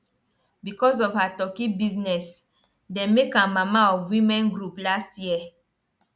because of her turkey business dem make am mama of women group last year